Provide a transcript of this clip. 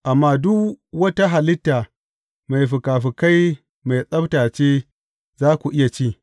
Amma duk wata halitta mai fikafikai mai tsabta ce, za ku iya ci.